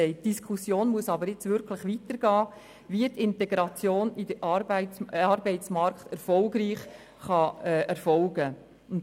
Die Diskussion, wie die Integration in den Arbeitsmarkt erfolgreich vonstattengehen kann, muss jetzt wirklich weitergehen.